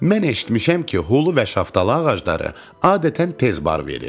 Mən eşitmişəm ki, hulu və şaftalı ağacları adətən tez bar verir.